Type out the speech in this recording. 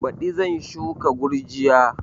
Baɗi zan shuka gurjiya